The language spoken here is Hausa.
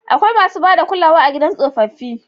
Akwai masu ba da kulawa a gidan tsofaffi.